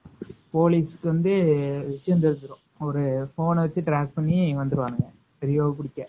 போலிஸ்கு வந்து விசையம் தெரிஞ்சுரும் ஒரு போன்ன வச்சு track பண்ணி வந்துருவாங்க ரியோவ புடிக்க.